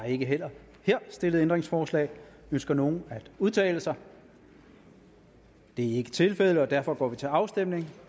ikke her stillet ændringsforslag ønsker nogen at udtale sig det er ikke tilfældet og derfor går vi til afstemning